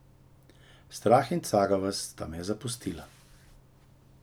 Strah in cagavost sta me zapustila.